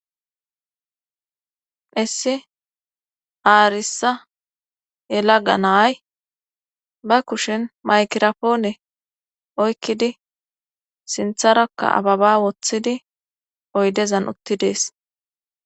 Issi aarissa yela ga naay ba kushin maykirapoone oykkidi sintharakka ababa woththidi oydezan uttidees.